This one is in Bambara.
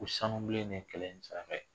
Ko sanubilen de ye kɛlɛ in saraka ye